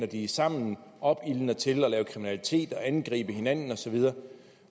de er sammen opildner til kriminalitet og til at angribe hinanden osv